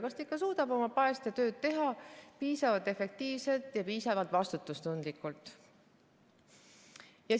Kas ta ikka suudab oma päästetööd teha piisavalt efektiivselt ja piisavalt vastutustundlikult?